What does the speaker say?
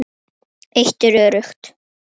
Eitt er öruggt.